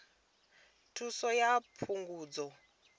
thuso ya phungudzo ya tsiku